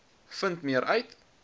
vind meer uit